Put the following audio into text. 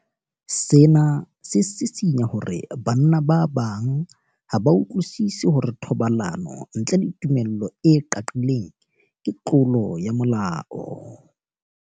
Sena se sisinya hore banna ba bang ha ba utlwisisi hore thobalano ntle le tumello e qaqileng ke tlolo ya molao.